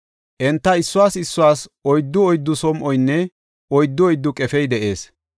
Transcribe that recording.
Enta issuwas issuwas oyddu oyddu som7oynne oyddu oyddu qefey de7ees.